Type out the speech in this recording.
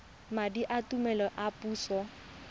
madi a tlamelo a puso